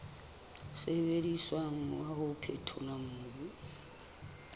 sebediswang wa ho phethola mobu